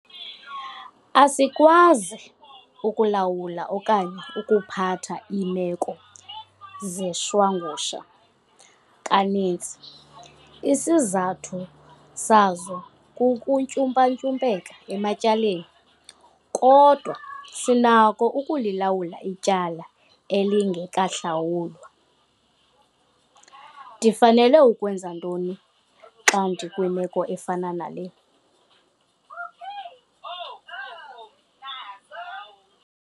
Asikwazi ukulawula okanye ukuphatha iimeko zeshwangusha, kaninzi isizathu sazo kukuntyumpantyumpeka ematyaleni, kodwa sinako ukulilawula ityala elingekahlawulwa. Ndifanele ukwenza ntoni xa ndikwimeko efana nale?